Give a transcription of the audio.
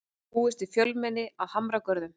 Búist við fjölmenni að Hamragörðum